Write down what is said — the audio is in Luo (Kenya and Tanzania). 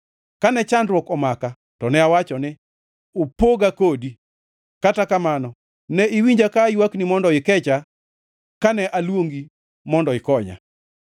Kane chandruok omaka to ne awacho ni, “Opoga kodi!” Kata kamano ne iwinja ka aywakni mondo ikecha kane aluongi mondo ikonya.